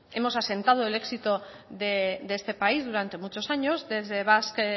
hemos asentado el éxito de este país durante muchos años desde basque